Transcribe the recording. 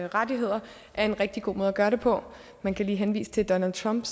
rettigheder er en rigtig god måde at gøre det på man kan henvise til donald trump